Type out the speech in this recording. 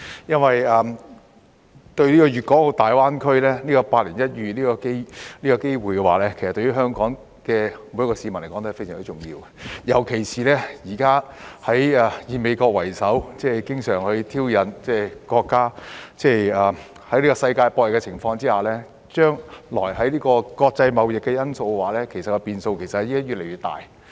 粵港澳大灣區這個百年一遇的機會對於每個香港市民也非常重要，尤其是現時以美國為首的經常挑釁國家，以及在世界博弈的情況下，將來國際貿易的變數會越來越大。